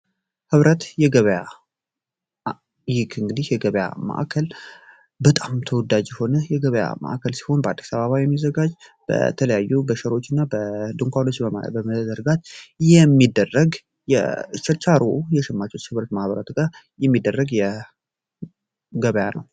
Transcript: ህብረት የገበያ ማዕከል ይህ እንግዲህ የገበያ ማዕከል በጣም ተወዳጅ የሆነ በአዲስ አበባ ያለ በተለያዩ በሸራዎችና ድንኳኖች የሚደረግ ችርቻሮ እና የሸማቾች የህብረት ስራ ማህበራት ጋር የሚደረግ ገበያ ነው።